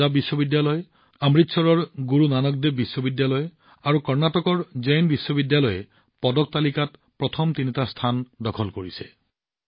পঞ্জাৱ বিশ্ববিদ্যালয় অমৃতসৰৰ গুৰু নানক দেৱ বিশ্ববিদ্যালয় আৰু কৰ্ণাটকৰ জৈন বিশ্ববিদ্যালয়ে এই খেলসমূহত পদকৰ সংখ্যাত প্ৰথম তিনিটা স্থান দখল কৰিছে